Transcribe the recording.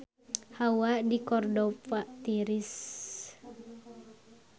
Hawa di Cordova tiris